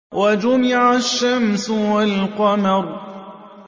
وَجُمِعَ الشَّمْسُ وَالْقَمَرُ